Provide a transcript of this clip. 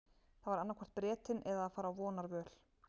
Það var annaðhvort Bretinn eða að fara á vonarvöl.